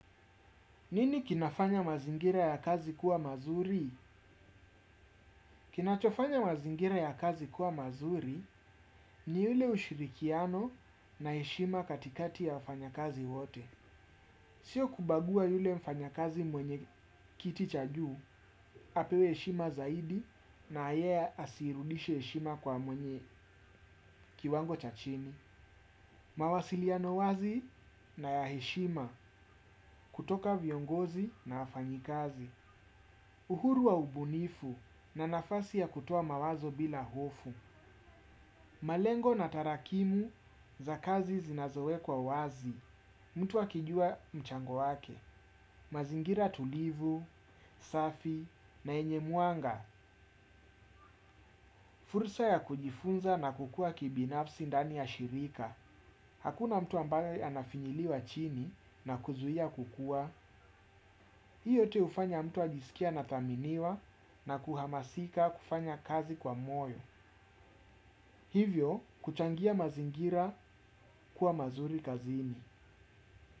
Nini kinafanya mazingira ya kazi kuwa mazuri? Kinachofanya mazingira ya kazi kuwa mazuri, ni yule ushirikiano na heshima katikati ya wafanya kazi wote. Sio kubagua yule mfanya kazi mwenye kiti cha juu, apewe eshima zaidi na yeye asirudishe heshima kwa mwenye kiwango cha chini. Mawasiliano wazi na ya heshima kutoka viongozi na wafanyi kazi. Uhuru wa ubunifu na nafasi ya kutoa mawazo bila hofu. Malengo na tarakimu za kazi zinazowekwa wazi. Mtu akijua mchango wake. Mazingira tulivu, safi na yenye mwanga. Fursa ya kujifunza na kukua kibinafsi ndani ya shirika. Hakuna mtu ambaye anafinyiliwa chini na kuzuia kukua. Hii yote hufanya mtu ajisikie anathaminiwa na kuhamasika kufanya kazi kwa moyo. Hivyo kuchangia mazingira kuwa mazuri kazini.